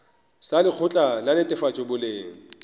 sa lekgotla la netefatšo boleng